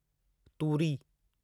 तूरी